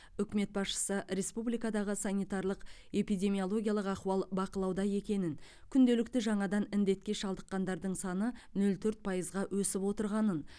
үкімет басшысы республикадағы санитарлық эпидемиологиялық ахуал бақылауда екенін күнделікті жаңадан індетке шалдыққандардың саны нөшл төрт пайызға өсіп отырғанын